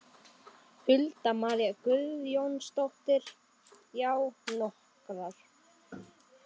Hulda María Guðjónsdóttir: Já, nokkrar?